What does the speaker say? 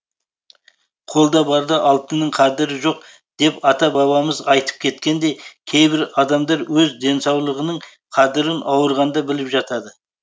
қолда барда алтынның қадірі жоқ деп ата бабамыз айтып кеткендей кейбір адамдар өз денсаулығының қадірін ауырғанда біліп жатады